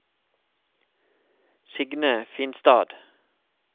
Signe Finstad